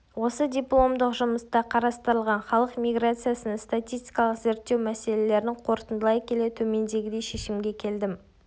осы дипломдық жұмыста қарастырылған халық миграциясын статистикалық зерттеу мәселелерін қорытындылай келе төмендегідей шешімге келдім